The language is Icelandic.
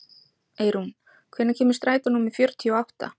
Eirún, hvenær kemur strætó númer fjörutíu og átta?